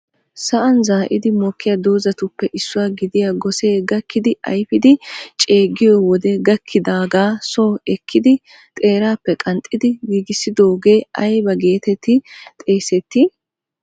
Sa'an zaa'idi mokkiya doozatuppe issuwa gidiya gossee gakkidi ayfiidi ceegiyo wode gakkidaagaa so ekkidi xeerappe qanxxidi giigissidooge ayba getetti xeessetti?